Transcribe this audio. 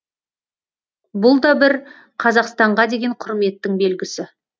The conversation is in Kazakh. бұл да бір қазақстанға деген құрметтің белгісі